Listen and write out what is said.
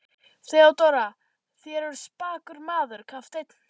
THEODÓRA: Þér eruð spakur maður, kafteinn.